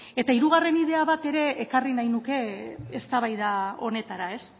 eta hirugarren idea bat ere ekarri nahi nuke eztabaida honetara ez